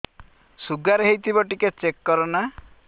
sugar ହେଇଥିବ ଟିକେ check କର ନା